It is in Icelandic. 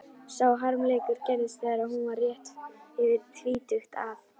Sá harmleikur gerðist þegar hún var rétt yfir tvítugt að